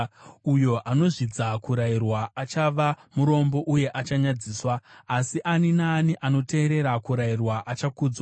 Uyo anozvidza kurayirwa achava murombo uye achanyadziswa, asi ani naani anoteerera kurayirwa achakudzwa.